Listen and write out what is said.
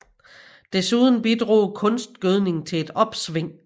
Desuden bidrog kunstgødning til et opsving